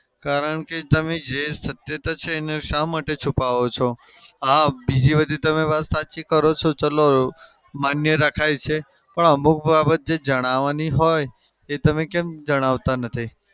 કારણ કે તમે જે સત્યતા છે એને શા માટે છુપાઓ છો? હા બીજી બધી તમે વાત સાચી કરો છો ચાલો માન્ય રખાય છે. પણ અમુક બાબત જે જાણવાની હોય એ તમે કેમ જણાવતા નથી?